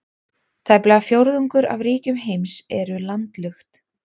Tæplega fjórðungur af ríkjum heims eru landlukt.